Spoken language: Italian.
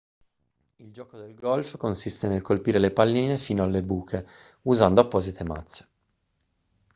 il gioco del golf consiste nel colpire le palline fino alle buche usando apposite mazze